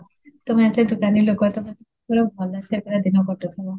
ତମେ ଏତେ ତ ଜ୍ଞାନୀ ଲୋକ ତ ପୁରା ଭଲ ସେ ପୁରା କରୁଥିବ